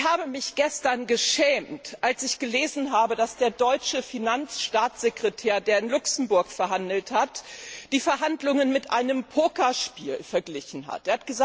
Ich habe mich gestern geschämt zu lesen, dass der deutsche Finanzstaatssekretär, der in Luxemburg verhandelt hat, die Verhandlungen mit einem Pokerspiel verglichen hat.